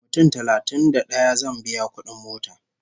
Mutum talatin da ɗaya zan biya kudin mota